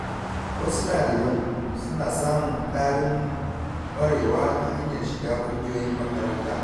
Wasu daliban suna samun ƙarin ƙwarewa ta hanyar shiga ƙungiyoyin makaranta.